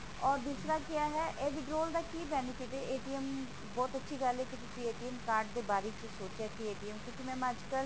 or ਦੂਸਰਾ ਕਿਆ ਹੈ ਇਹ withdraw ਦਾ ਕਿ benefit ਹੈ ਬਹੁਤ ਅੱਛੀ ਗੱਲ ਹੈ ਕਿ ਤੁਸੀਂ card ਦੇ ਬਾਰੇ ਸੋਚਿਆ ਕਿ ਕਿਉਂਕੀ mam ਅੱਜਕਲ